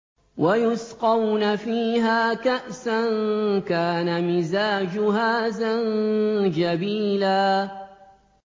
وَيُسْقَوْنَ فِيهَا كَأْسًا كَانَ مِزَاجُهَا زَنجَبِيلًا